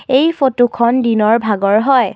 এই ফটোখন দিনৰ ভাগৰ হয়।